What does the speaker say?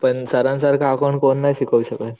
पण सरांन सारखं अकाउंट कोण नाही शिकवू शकत,